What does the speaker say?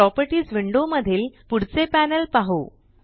properties window मधील पुढचे panel पाहु